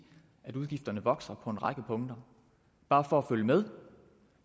at udgifterne vokser på en række punkter bare for at følge med